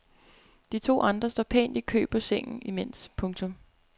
De to andre står pænt i kø på sengen imens. punktum